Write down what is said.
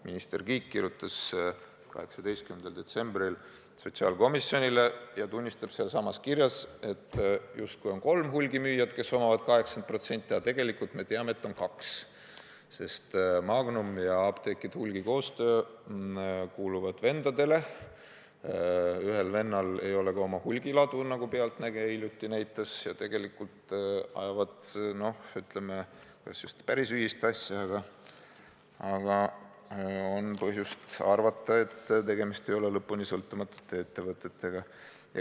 Minister Kiik kirjutas 18. detsembril sotsiaalkomisjonile ja tunnistab sealsamas kirjas, et justkui on kolm hulgimüüjat, kes omavad 80%, aga tegelikult me teame, et on kaks, sest Magnum ja Apteekide Koostöö Hulgimüük kuuluvad vendadele, ühel vennal ei ole ka oma hulgiladu, nagu "Pealtnägija" hiljuti näitas, ja tegelikult ajavad nad kas just päris ühist asja, aga on põhjust arvata, et tegemist ei ole lõpuni sõltumatute ettevõtetega.